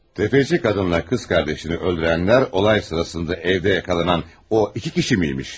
Tefeci qadınla qız qardaşını öldürənlər olay sırasında evdə yaxalanan o iki kişi miymiş?